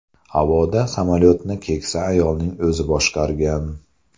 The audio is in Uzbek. Havoda samolyotni keksa ayolning o‘zi boshqargan.